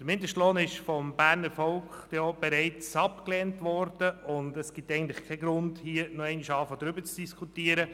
Der Mindestlohn ist vom Berner Volk denn auch bereits abgelehnt worden, und es gibt eigentlich keinen Grund, hier noch einmal darüber zu diskutieren.